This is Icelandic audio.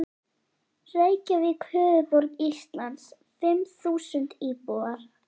Reykjavík, höfuðborg Íslands, fimm þúsund íbúar.